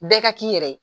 Bɛɛ ka k'i yɛrɛ ye